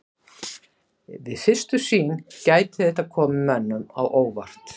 Við fyrstu sýn gæti þetta komið mönnum á óvart.